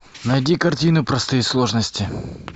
найди картину простые сложности